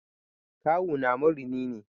Kawuna marini ne.